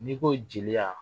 N'i ko jeliya